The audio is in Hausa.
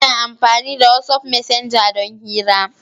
Ina amfani da wat'af messenger don hira.